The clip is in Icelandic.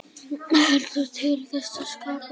Heldur til þess að skapa.